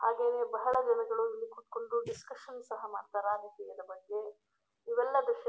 ಹಾಗೇನೇ ಬಹಳ ದಿನಗಳು ಇಲ್ಲಿ ಕೂತ್ಕೊಂಡು ಡಿಸ್ಕಶನ್ ಸಹ ಮಾಡ್ತಾರೆ ಇದರ ಬಗ್ಗೆ ಇವೆಲ್ಲ ದೃಶ್ಯ.